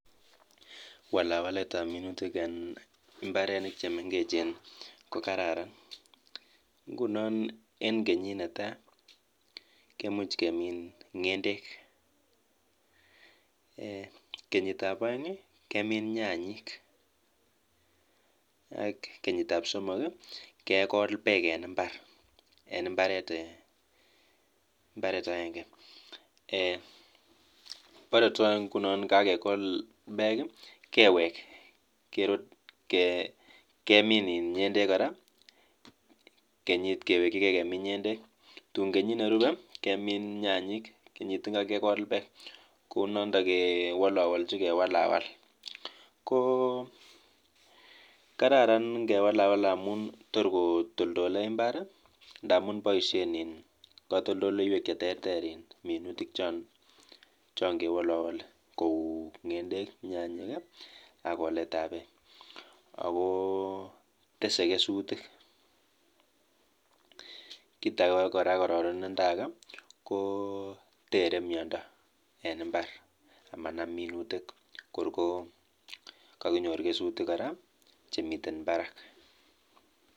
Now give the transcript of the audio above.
Oratinwek ochon chegororon en walawaletab minutik ak koletab minutik cheterterchin en mbarenik chemengech.